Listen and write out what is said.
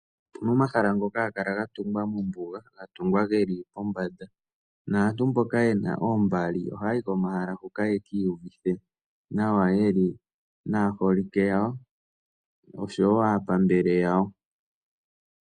Pu na omahala ngoka wo haga kala ga tungwa mombuga, ga tungwa ge li pombanda, naantu mboka ye na oombali ohaa yi komahala hoka yeki iyuvithe nawa, ye li naaholike yawo, osho wo aapambele yawo..